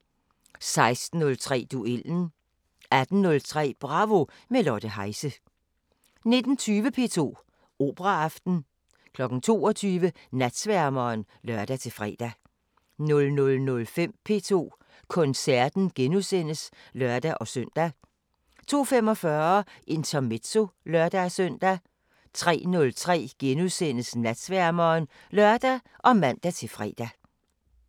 16:03: Duellen 18:03: Bravo – med Lotte Heise 19:20: P2 Operaaften 22:00: Natsværmeren (lør-fre) 00:05: P2 Koncerten *(lør-søn) 02:45: Intermezzo (lør-søn) 03:03: Natsværmeren *(lør og man-fre)